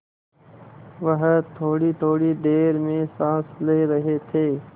वह थोड़ीथोड़ी देर में साँस ले रहे थे